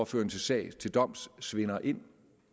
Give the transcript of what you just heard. føre en sag til doms svinder ind